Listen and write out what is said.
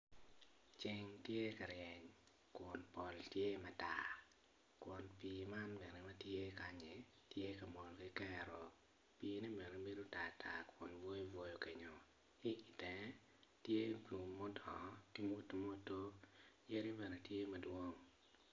Ceng tye ka ryeny kun pol tye matar kun pi man bene matye kanyi tye ka mol kikero pi ne bene bedo tartar bwoyobwoyo kenyo ki tenge tye lum mutwo ki muturoturo yadi bene tye madwong.